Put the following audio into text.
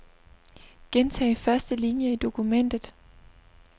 Gentag første linie i dokumentet.